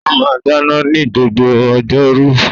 Ó máa ń dáná ní gbogbo ọjọ́ rú